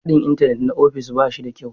Haɗin Intanet na ofis ba shi da kyau.